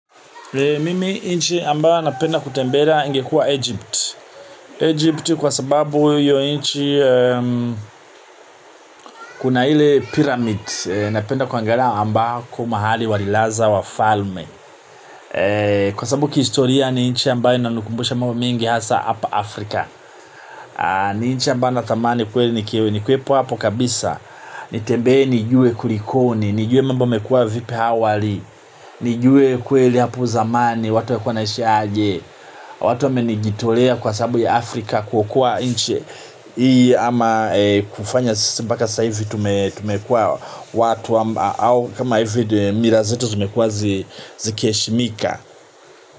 Mimi nchi ambayo napenda kutembelea ingekua Egypt. Egypt kwa sababu hiyo nchi kuna ile pyramid. Napenda kuangalia ambako mahali walilaza wafalme. Kwa sababu kihistoria ni nchi ambayo inanikumbusha mambo mengi hasa hapa Afrika. Ni nchi ambayo nathamani kweli nikewe. Ni kuwepo hapo kabisa. Nitembee nijue kulikoni. Nijue mambo yamekua vipi hawali. Nijue kweli hapo zamani. Watu walikua wanaishi aje. Watu wamenijitolea kwa sababu ya Afrika. Kuokoa nchi ii ama kufanya sasa mpaka sasa hivi tumekua watu au kama hivi mila zetu zimekua zikiheshimika.